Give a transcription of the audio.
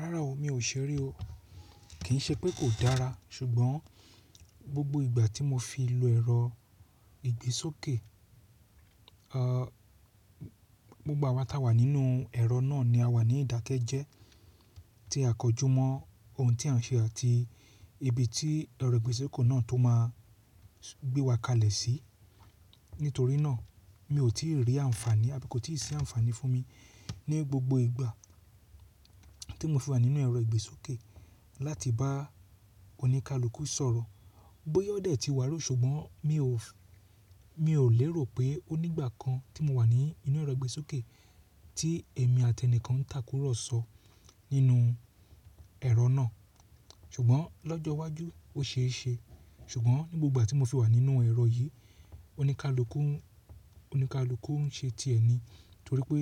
Rárá o, mi ò ṣeré o. Kì í ṣe pé kò dára ṣùgbọ́n gbogbo ìgbà tí mo fi lọ ẹ̀rọ ìgbésókè, ọ̀, gbogbo àwàtà wà nínú ẹ̀rọ náà ni àwa ní ìdákẹ́jẹ́ tí a kọjú mọ́ ohun tí à ń ṣe àti ibi tí ẹ̀rọ ìgbésókè náà tó máa gbé wa kalẹ̀ sí. Nítorí náà mi ò tí ì rí àǹfààní àbí kò tí ì ṣe àǹfààní fún mi ní gbogbo ìgbà tí mo fi wà nínú ẹ̀rọ ìgbésókè láti bá oníkálukú sọ̀rọ̀. Bóyá ọ̀dẹ̀ tí wà rú ṣùgbọ́n mi ò, mi ò lérò pé ó ní ìgbà kan tí mo wà ní inú ẹ̀rọ ìgbésókè tí èmi àti ẹni kan ń takúrọ̀sọ nínú ẹ̀rọ náà. Ṣùgbọ́n lọ́jọ́ iwájú ó ṣe é ṣe. Ṣùgbọ́n ní gbogbo ìgbà tí mo fi wà nínú ẹ̀rọ yìí, oníkálukú ń, oníkálukú ń ṣe ti ẹ̀ni torí pé,